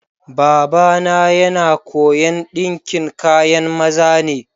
Baba na yana koya'n dinkin kayan maza ne.